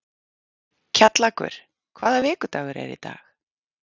Kjallakur, hvaða vikudagur er í dag?